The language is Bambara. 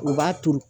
U b'a turu